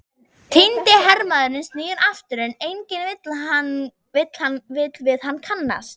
Týndi hermaðurinn snýr aftur, en enginn vill við hann kannast.